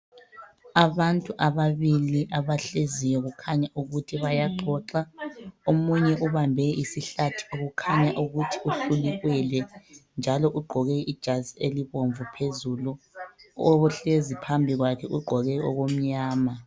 Abantu ababili abahleziyo kukhanye ukuthi bayaxoxa. Omunye ubambe isihlathi kukhanya ukuthi uhlulikelwe njalo ugqoke ijazi elibomvu phezulu. Ohlezi phambi kwakhe ugqoke okumnyama.